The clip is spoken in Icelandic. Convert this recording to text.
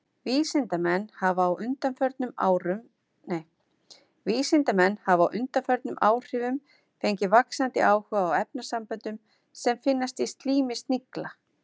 Vísindamenn hafa á undanförnum áhrifum fengið vaxandi áhuga á efnasamböndum sem finnast í slími snigla.